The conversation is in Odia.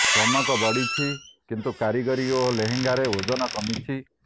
ଚମକ ବଢ଼ିଛି କିନ୍ତୁ କାରିଗରୀ ଓ ଲେହେଙ୍ଗାର ଓଜନ କମିଛି